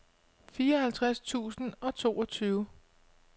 fireoghalvtreds tusind og toogtyve